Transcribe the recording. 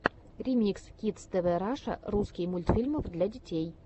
ремикс кидс тв раша русский мультфильмов для детей